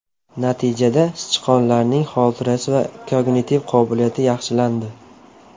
Natijada sichqonlarning xotirasi va kognitiv qobiliyati yaxshilandi.